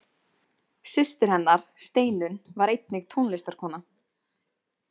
Systir hennar, Steinun, var einnig tónlistarkona.